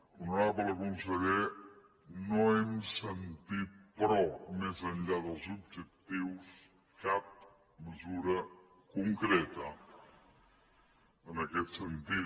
honorable conseller no hem sentit però més enllà dels objectius cap mesura concreta en aquest sentit